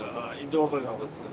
Doğulub burda, haqqıdır.